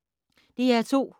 DR2